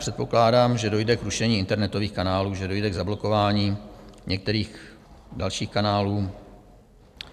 Předpokládám, že dojde k rušení internetových kanálů, že dojde k zablokování některých dalších kanálů.